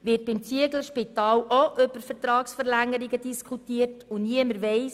Wird beim Zieglerspital auch über Vertragsverlängerungen diskutiert ohne dass jemand davon weiss?